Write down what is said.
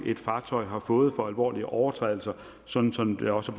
et fartøj har fået for alvorlige overtrædelser sådan som det også